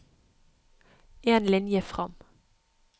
En linje fram